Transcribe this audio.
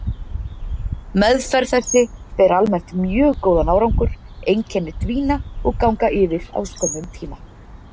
Meðferð þessi ber almennt mjög góðan árangur, einkenni dvína og ganga yfir á skömmum tíma.